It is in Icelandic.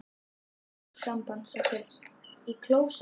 Ég minnist augnsambands okkar í klósett